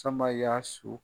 Sama y'a su.